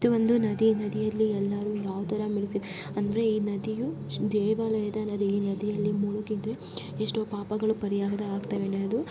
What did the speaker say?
ಇದು ಒಂದು ನದಿ ನದಿಯಲ್ಲಿ ಎಲ್ಲರೂ ಮುಳುಗುತ್ತಿದ್ದರೆ ಈ ನದಿಯು ದೇವಾಲಯದ ನದಿ ಈ ನದಿಯಲ್ಲಿ ಮುಳುಗಿದರೆ ಎಷ್ಟೋ ಪಾಪಗಳು ಪರಿಹಾರವಾಗುತ್ತೆ.